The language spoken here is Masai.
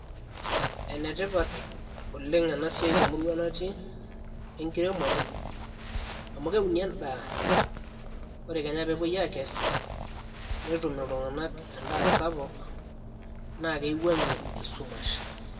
enetipat oleng ena siai temurua natii enkiremore amu keuni endaa ore kenya peepuoi aakes netum iltung'anak endaa sapuk na keiwuang'ie esumash.